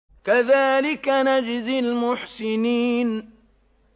كَذَٰلِكَ نَجْزِي الْمُحْسِنِينَ